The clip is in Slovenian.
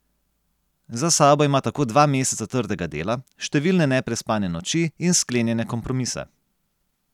Za sabo ima tako dva meseca trdega dela, številne neprespane noči in sklenjene kompromise.